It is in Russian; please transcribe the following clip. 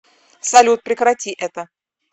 салют прекрати это